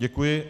Děkuji.